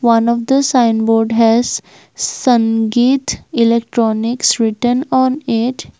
one of the sign board has sangeeth electronics written on it.